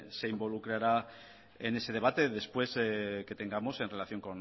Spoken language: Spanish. se involucrará de ese debate después que tengamos en relación